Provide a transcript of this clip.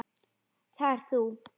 Það ert þú!